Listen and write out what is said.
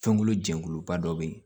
Fɛnkolo jɛkuluba dɔ bɛ yen